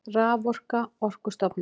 Raforka Orkustofnun.